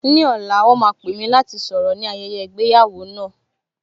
Ní ọ̀la, wọn máa pè mí láti sọ̀rọ̀ ní bi ayẹyẹ ìgbéyàwó náà